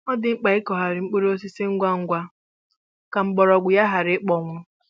Ọ dị mkpa ịkụghari mkpụrụ osisi ngwa ngwa ka mgbọrọgwụ ya ghara ikpọnwụ